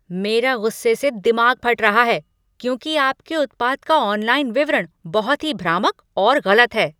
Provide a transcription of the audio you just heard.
मेरा गुस्से से दिमाग फट रहा है क्योंकि आपके उत्पाद का ऑनलाइन विवरण बहुत ही भ्रामक और गलत है।